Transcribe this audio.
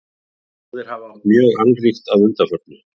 Báðir hafa átt mjög annríkt að undanförnu.